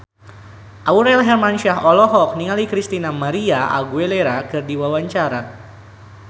Aurel Hermansyah olohok ningali Christina María Aguilera keur diwawancara